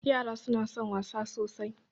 Yara suna son wasa sosai.